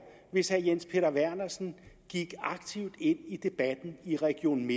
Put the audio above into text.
hvis herre jens peter vernersen gik aktivt ind i debatten i region